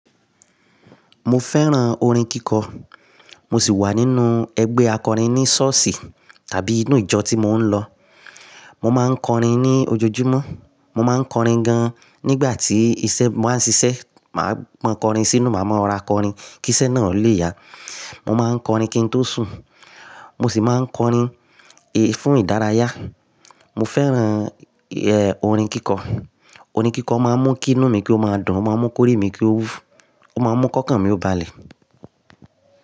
Mo fẹ́ràn orin kíkọ. Mo sì wà nínú ẹgbẹ́ akọrin ní ṣọ́ọ̀ṣì tàbí inú ìjọ tí mò ń lọ. Mo máa ń kọrin ní ojoojúmọ́, mo máa ń kọrin gan-an nígbà tí iṣẹ́, mo máa ń ṣiṣẹ́, màá mọ kọrin sínú, màá mọ ra kọrin kí iṣẹ́ náà lè yá. Mo máa ń kọrin kí n tó sùn. Mo sì máa ń kọrin e fún ìdárayá. Mo fẹ́ràn eh orin kíkọ. Orin kíkọ máa ń mú kí inú mi kí ó máa dùn, ó máa ń mú kórìí mi kí ó, ó máa ń mú kọ́kàn mí ó ba lè.